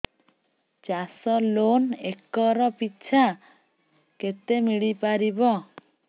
ଚାଷ loan acre ପିଛା କେତେ ମିଳି ପାରିବ